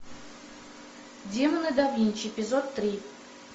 демоны да винчи эпизод три